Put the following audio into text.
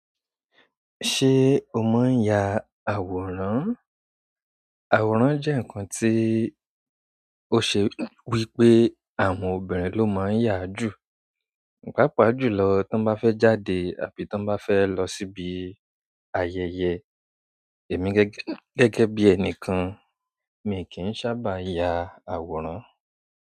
Ṣé o máa ń ya àwòrán? Àwòrán jẹ nkán tí o ṣe wípé àwọn obìrin ló máa ń yáa jù pàápàá jùlọ tí wọn bá fẹ jáde àbí tọn ba fẹ lọ síbi ayẹyẹ. Èmi gẹ́gẹ́ gẹ́gẹ́ bí ẹni kan, mi kì í sábà ya àwòrán.